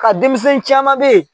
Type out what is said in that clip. Ka denmisɛn caman beyi